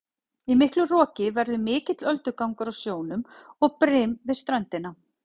Í miklu roki verður mikill öldugangur á sjónum og brim við ströndina.